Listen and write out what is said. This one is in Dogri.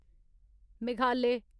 मेघालय